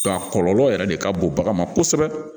A kɔlɔlɔ yɛrɛ de ka bon bagan ma kosɛbɛ